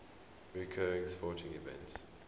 recurring sporting events